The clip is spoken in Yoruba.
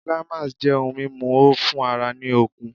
Climax' jẹ́ ohun mímu o fún ara ní okun